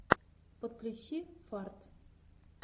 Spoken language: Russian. подключи фарт